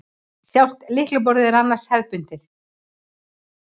Sjálft lyklaborðið er annars hefðbundið